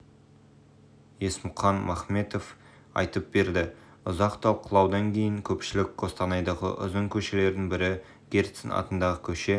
есмұқан махметов айтып берді ұзақ талқылаудан кейін көпшілік қостанайдағы ұзын көшелердің бірі герцен атындағы көше